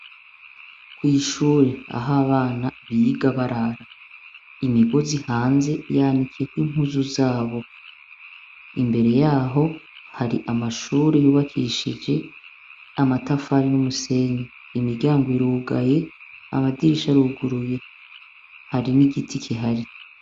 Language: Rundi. Kw'ishure, aho abana biga barara. Imigozi hanze, yanikiyeko impuzu zabo. Imbere y'aho hari amashure yubakishije amatafari n'umusenyi. Imiryango irugaye, amadirisha aruguruye, hari n'igiti kihari.